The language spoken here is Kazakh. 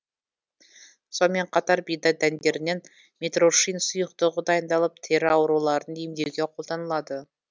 сонымен қатар бидай дәндерінен митрошин сұйықтығы дайындалып тері ауруларын емдеуге қолданылады